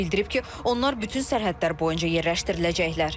Bildirib ki, onlar bütün sərhədlər boyunca yerləşdiriləcəklər.